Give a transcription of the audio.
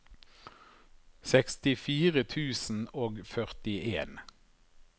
sekstifire tusen og førtien